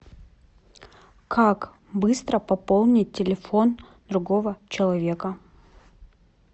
как быстро пополнить телефон другого человека